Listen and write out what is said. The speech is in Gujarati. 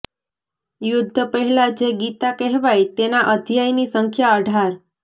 યુદ્ધ પહેલા જે ગીતા કહેવાઈ તેના અધ્યાયની સંખ્યા અઢાર